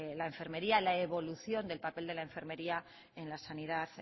la enfermería la evolución del papel de la enfermería en la sanidad